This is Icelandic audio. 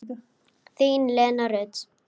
Þín, Lena Rut.